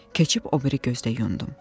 Keçib o biri gözdə yundum.